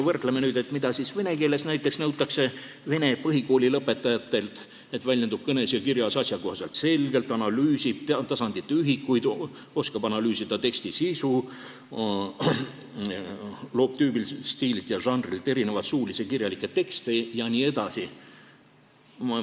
Vaatame, mida siis vene keeles nõutakse näiteks vene põhikooli lõpetajatelt: väljendub kõnes ja kirjas asjakohaselt ja selgelt, analüüsib keeletasandite ühikuid, oskab analüüsida teksti sisu, loob tüübilt, stiililt ja žanrilt erinevaid suulisi ja kirjalikke tekste jne.